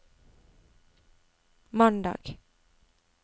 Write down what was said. mandag